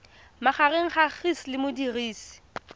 magareng ga gcis le modirisi